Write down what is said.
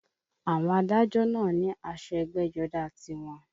Àwọn adájọ́ náà ní aṣọ ẹgbẹ́jọdá tiwọn